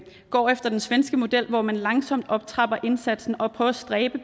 går efter den svenske model hvor man langsomt optrapper indsatsen og prøver at stræbe